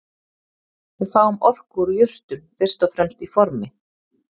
Við fáum orku úr jurtum fyrst og fremst í formi